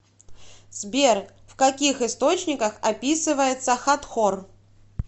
сбер в каких источниках описывается хатхор